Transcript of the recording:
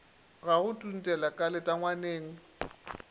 ga go tuntela ka letangwaneng